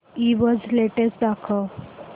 ईबझ लेटेस्ट दाखव